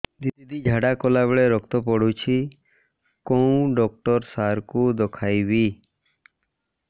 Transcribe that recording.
ଦିଦି ଝାଡ଼ା କଲା ବେଳେ ରକ୍ତ ପଡୁଛି କଉଁ ଡକ୍ଟର ସାର କୁ ଦଖାଇବି